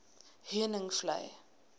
heuningvlei